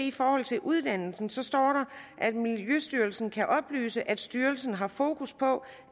i forhold til uddannelsen står der at miljøstyrelsen kan oplyse at styrelsen har fokus på